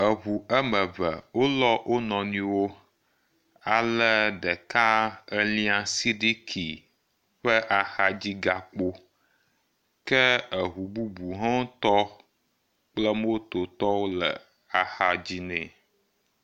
Eŋu ame eve wolɔ wo nɔnɔewo ale ɖeka elia sidiki ƒe axadzigakpo ke eŋu bubu wo ŋutɔ kple motowo le axa dzi nɛ.